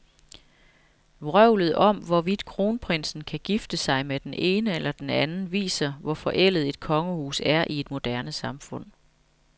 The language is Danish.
Vrøvlet om, hvorvidt kronprinsen kan gifte sig med den ene eller den anden, viser, hvor forældet et kongehus er i et moderne samfund.